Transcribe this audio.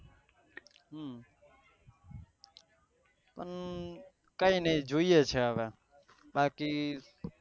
કઈ નહી જોયીયે છે હવે બાકી